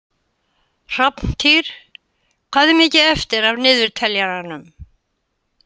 Hrafntýr, hvað er mikið eftir af niðurteljaranum?